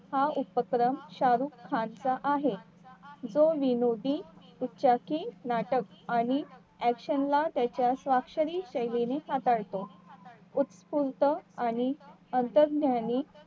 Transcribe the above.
हा एकत्रम शाह रुख खान चा आहे जो विनोदी उपचाकी नाटक आणि action ला त्याच्या स्वाक्षरीचे येणे साकारतो उत्कृष्ट आणि